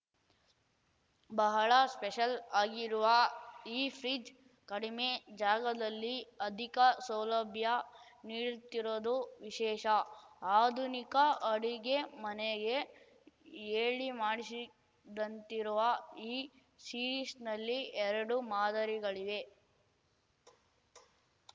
ಬಹಳ ಸ್ಪೆಷಲ್ ಆಗಿರುವ ಈ ಫ್ರಿಡ್ಜ್ ಕಡಿಮೆ ಜಾಗದಲ್ಲಿ ಅಧಿಕ ಸೌಲಭ್ಯ ನೀಡ್ತಿರೋದು ವಿಶೇಷ ಆಧುನಿಕ ಅಡುಗೆಮನೆಗೆ ಹೇಳಿಮಾಡಿಸಿದಂತಿರುವ ಈ ಸೀರೀಸ್‌ನಲ್ಲಿ ಎರಡು ಮಾದರಿಗಳಿವೆ